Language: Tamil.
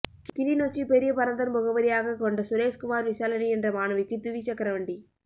கிளிநொச்சி பெரியபரந்தன் முகவரியாக கொண்ட சுரேஸ்குமார் விசாலினி என்ற மாணவிக்கு துவிசக்கரவண்டி